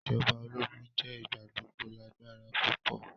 Ijọba ologun jẹ igbagbogbo lagbara pupọ.